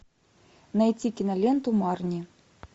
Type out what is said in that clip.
найти киноленту марни